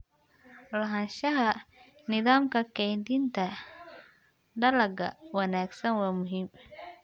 Lahaanshaha nidaamka kaydinta dalagga wanaagsan waa muhiim.